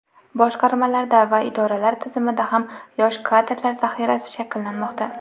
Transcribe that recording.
boshqarmalarda va idoralar tizimida ham yosh kadrlar zaxirasi shakllanmoqda.